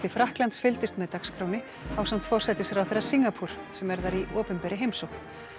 Frakklands fylgdist með dagskránni ásamt forsætisráðherra sem er þar í opinberri heimsókn